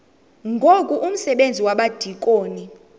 ngoku umsebenzi wabadikoni